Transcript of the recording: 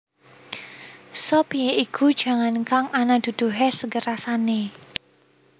Sop ya iku jangan kang ana duduhé seger rasané